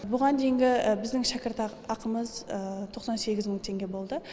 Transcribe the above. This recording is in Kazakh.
бұған дейінгі біздің шәкірт ақымыз тоқсан сегіз мың теңге болды